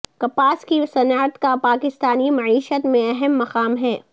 کپاس کی صنعت کا پاکستانی معیشت میں اہم مقام ہے